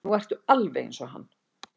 Nú ertu alveg eins og hann.